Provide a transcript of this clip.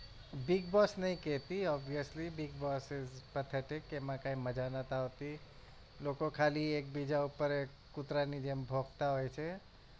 Big boss નહિ કેતી obviously big boss is pathetic એમાં કઈ મજા નથી આવતી લોકો ખાલી એક બીજા ઉપર કુતરા ની જેમ ભોક્તા હોય છે.